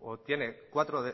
o tiene cuatro